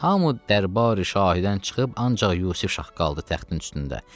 Hamı dərbari-şahidən çıxıb ancaq Yusif şah qaldı təxtin üstündə.